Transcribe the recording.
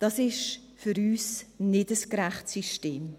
Dies ist für uns kein gerechtes System.